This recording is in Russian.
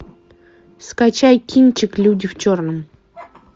скачай кинчик люди в черном